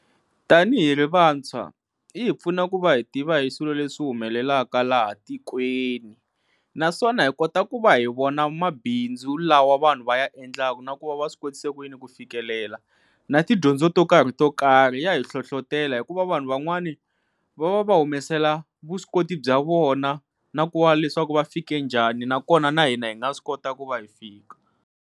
Tanihi ri vantshwa yi hi pfuna ku va hi tiva hi swilo leswi humelelaka laha tikweni naswona hi kota ku va hi vona mabindzu lawa vanhu va ya endlaka na ku va va swi kotise ku yini ku fikelela na tidyondzo to karhi to karhi ya hi hlohlotelo hikuva vanhu van'wani va va va humesela vuswikoti bya vona na ku va leswaku va fike njhani nakona na hina hi nga swi kotaka ku va hi fika.